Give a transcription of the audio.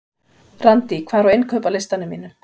Randý, hvað er á innkaupalistanum mínum?